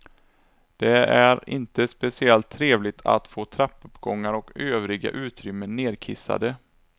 Det är inte speciellt trevligt att få trappuppgångar och övriga utrymmen nerkissade.